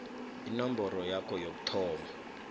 inomboro yakho yokuthoma